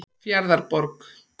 Fjarðarborg